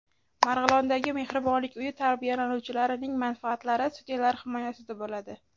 Marg‘ilondagi Mehribonlik uyi tarbiyalanuvchilarining manfaatlari sudyalar himoyasida bo‘ladi.